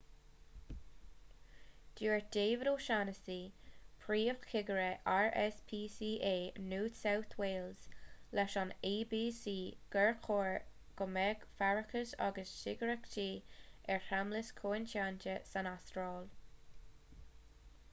dúirt david o'shannessy príomhchigire rspca new south wales leis an abc gur chóir go mbeadh faireachas agus cigireachtaí ar sheamlais coitianta san astráil